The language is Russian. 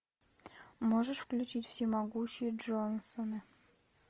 можешь включить всемогущие джонсоны